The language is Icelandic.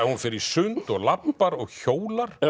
hún fer í sund og labbar og hjólar